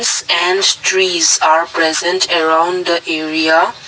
Stand trees are present around the area.